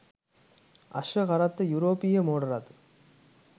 අශ්ව කරත්ත යුරෝපීය මෝටර් රථ